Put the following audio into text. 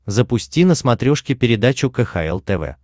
запусти на смотрешке передачу кхл тв